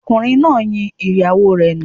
Ọkùnrin náà yin ìyàwó rẹ̀ nù